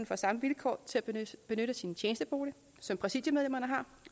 får samme vilkår til at benytte sin tjenestebolig som præsidiemedlemmerne har